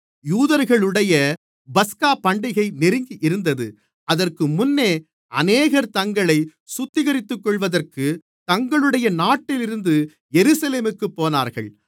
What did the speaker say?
யூதர்களுடைய பஸ்காபண்டிகை நெருங்கியிருந்தது அதற்கு முன்னே அநேகர் தங்களைச் சுத்திகரித்துக்கொள்வதற்கு தங்களுடைய நாட்டிலிருந்து எருசலேமுக்குப் போனார்கள்